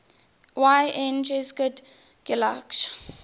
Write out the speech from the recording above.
yn cheshaght ghailckagh